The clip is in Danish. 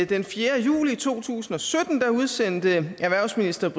den fjerde juli to tusind og sytten udsendte erhvervsministeren